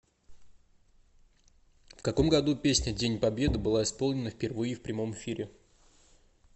в каком году песня день победы была исполнена впервые в прямом эфире